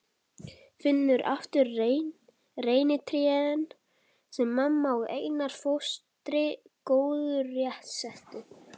Finnur aftur reynitrén sem mamma og Einar fóstri gróðursettu.